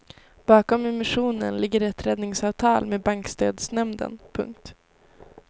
Bakom emissionen ligger ett räddningsavtal med bankstödsnämnden. punkt